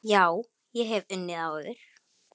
Já, ég hef unnið áður.